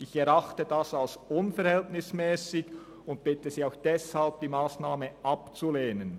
Ich erachte dies als unverhältnismässig und bitte Sie auch deshalb, diese Massnahme abzulehnen.